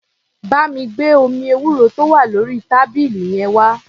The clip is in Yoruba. Bá mi gbé omi ewúro tó wà lórí tábìlì yẹn wá.